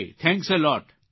thanks a lot